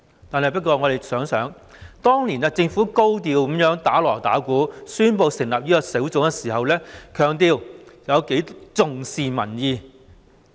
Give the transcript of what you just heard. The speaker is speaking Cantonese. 可是，大家想一想，當年政府高調地"打鑼打鼓"，宣布成立專責小組，並強調十分重視民意。